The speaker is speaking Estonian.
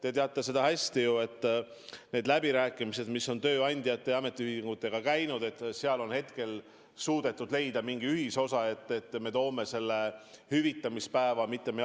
Te teate ju hästi, et nendel läbirääkimistel, mis on tööandjate ja ametiühingutega käinud, on hetkel suudetud leida mingi ühisosa, et me toome hüvitamispäeva ettepoole.